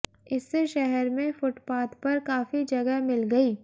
इससे शहर में फुटपाथ पर काफी जगह मिल गई